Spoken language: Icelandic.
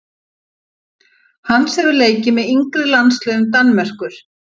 Hans hefur leikið með yngri landsliðum Danmerkur.